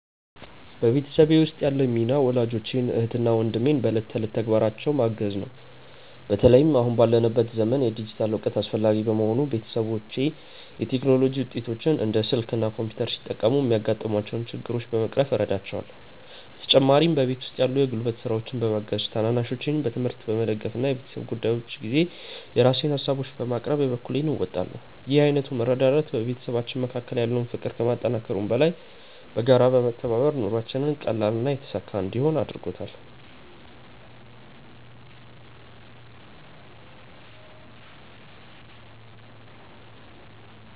በቤተሰቤ ውስጥ ያለኝ ሚና ወላጆቼን፣ እህትና ወንድሜን በዕለት ተዕለት ተግባራቸው ማገዝ ነው። በተለይም አሁን ባለንበት ዘመን የዲጂታል እውቀት አስፈላጊ በመሆኑ፣ ቤተሰቦቼ የቴክኖሎጂ ውጤቶችን (እንደ ስልክ እና ኮምፒውተር) ሲጠቀሙ የሚያጋጥሟቸውን ችግሮች በመቅረፍ እረዳቸዋለሁ። በተጨማሪም በቤት ውስጥ ያሉ የጉልበት ስራዎችን በማገዝ፣ ታናናሾቼን በትምህርታቸው በመደገፍ እና በቤተሰብ ጉዳዮች ጊዜ የራሴን ሃሳቦችን በማቅረብ የበኩሌን እወጣለሁ። ይህ ዓይነቱ መረዳዳት በቤተሰባችን መካከል ያለውን ፍቅር ከማጠናከሩም በላይ፣ በጋራ በመተባበር ኑሯችንን ቀላልና የተሳካ እንዲሆን አድርጎታል።